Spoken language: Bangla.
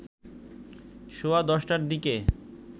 সোয়া ১০টার দিকে